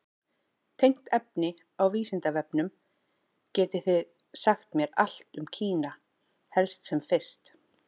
Tengt efni á Vísindavefnum: Getið þið sagt mér allt um Kína, helst sem fyrst?